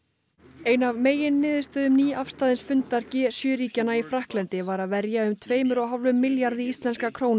ein af meginniðurstöðum nýafstaðins fundar g sjö ríkjanna í Frakklandi var að verja um tveimur og hálfum milljarði íslenskra króna